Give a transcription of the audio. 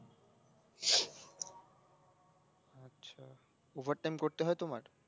over time করতে হয় তোমার